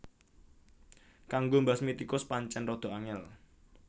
Kanggo mbasmi tikus pancén rada angél